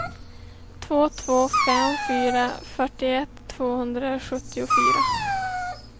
två två fem fyra fyrtioett tvåhundrasjuttiofyra